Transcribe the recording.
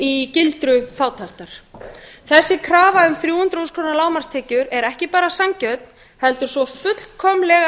í gildru fátæktar þeirra krafa um þrjú hundruð þúsund krónur lágmarkstekjur er ekki bara sanngjörn heldur svo fullkomlega